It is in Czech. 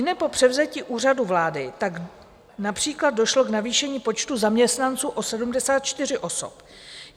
Ihned po převzetí Úřadu vlády tak například došlo k navýšení počtu zaměstnanců o 74 osob.